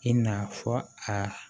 I na fɔ aa